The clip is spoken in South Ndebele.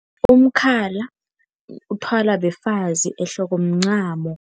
Umkhala uthwalwa befazi ehloko mncamo.